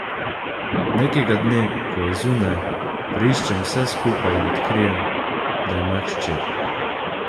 Nekega dne, ko je zunaj, preiščem vse skupaj in odkrijem, da ima hčer.